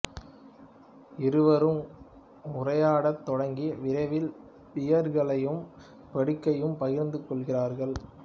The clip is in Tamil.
இருவரும் உரையாடத் தொடங்கி விரைவில் பியர்களையும் படுக்கையையும் பகிர்ந்து கொள்கிறார்கள்